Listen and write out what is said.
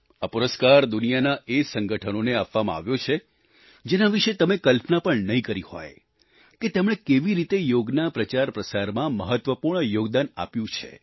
આ પુરસ્કાર દુનિયાભરના એ સંગઠનોને આપવામાં આવ્યો છે જેના વિશે તમે કલ્પના પણ નહીં કરી હોય કે તેમણે કેવી રીતે યોગના પ્રચારપ્રસારમાં મહત્વપૂર્ણ યોગદાન આપ્યું છે